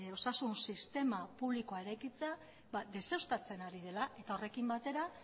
osasun sistema publikoa eraikitzea ba deuseztatzen ari dela eta horrekin batera